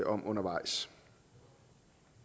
om undervejs